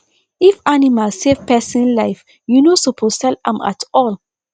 if animal save person life you no suppose sell am at all